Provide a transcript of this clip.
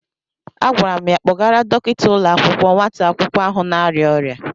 Agwara m ya kpọrọgara Dọkịta ụlọ akwụkwọ nwata akwụkwọ ahụ na-arịa ọrịa.